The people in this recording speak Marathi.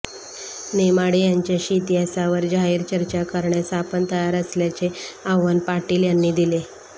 नेमाडे यांच्याशी इतिहासावर जाहीर चर्चा करण्यास आपण तयार असल्याचे आव्हान पाटील यांनी दिले